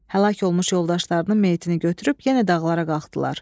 Həlak olmuş yoldaşlarının meytini götürüb yenə dağlara qalxdılar.